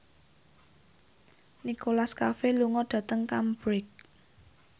Nicholas Cafe lunga dhateng Cambridge